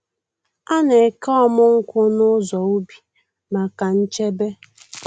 A na-eke ọmụ nkwụ n’ụzọ ubi maka nchebe.